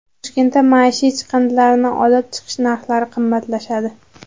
Toshkentda maishiy chiqindilarni olib chiqish narxlari qimmatlashadi.